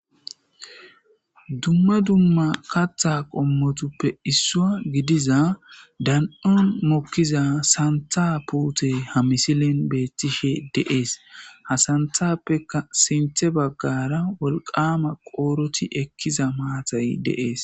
Dumma dumma Katha qommotuppe isswa gidiza dano'on mokiza santha putey ha misilen betishe de'ese ha santhapekka sinthe bagara wolqama qoroti ekiza maatay de'ese